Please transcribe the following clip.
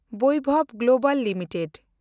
Vaibhav Global limited